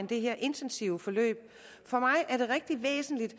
det her intensive forløb for mig er det rigtig væsentligt